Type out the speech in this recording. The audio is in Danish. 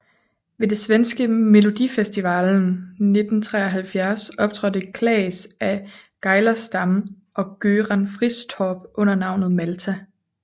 Ved det svenske Melodifestivalen 1973 optrådte Claes af Geijerstam og Göran Fristorp under navnet Malta